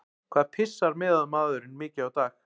Hvað pissar meðalmaðurinn mikið á dag?